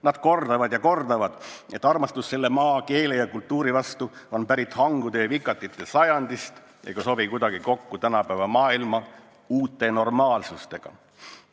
Nad kordavad ja kordavad, et armastus selle maa, keele ja kultuuri vastu on pärit hangude ja vikatite sajandist ega sobi kuidagi kokku tänapäeva maailma uue normaalsusega.